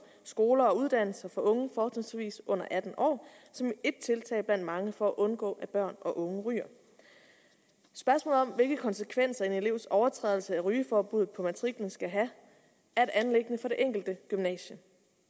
skoler og uddannelsessteder for unge fortrinsvis under atten år som er et tiltag blandt mange for at undgå at børn og unge ryger spørgsmålet om hvilke konsekvenser en elevs overtrædelse af rygeforbuddet på matriklen skal have er et anliggende for det enkelte gymnasium